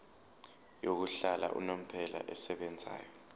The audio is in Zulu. yokuhlala unomphela esebenzayo